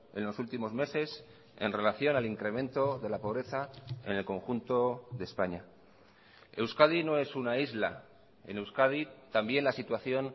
en los últimos meses en relación al incremento de la pobreza en el conjunto de españa euskadi no es una isla en euskadi también la situación